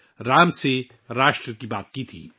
میں نے 'رام سے راشٹر' کا ذکر کیا تھا